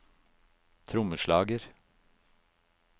trommeslager